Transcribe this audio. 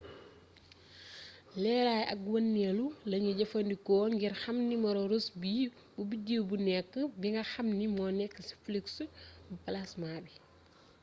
leeraay ak wëndeelu lañu jëfandikoo ngir xam nimero rossby bu bideew bu nekk bi nga xam ni moo nekk ci flux bu plasma bi